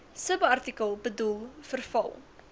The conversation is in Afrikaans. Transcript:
subartikel bedoel verval